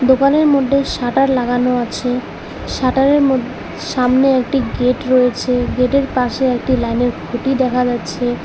দোকানের মধ্যে শাটার লাগানো আছে শাটার এর ম গেট এর পাশে একটি লাইন এর খুঁটি দেখা যাচ্ছে।